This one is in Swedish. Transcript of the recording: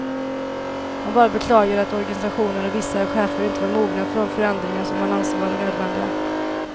Han bara beklagade att organisationen och vissa chefer inte var mogna för de förändringar som han anser vara nödvändiga.